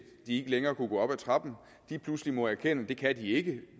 ikke længere kunne gå op ad trappen pludselig må erkende at det kan de ikke